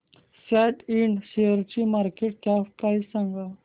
सॅट इंड शेअरची market cap price सांगा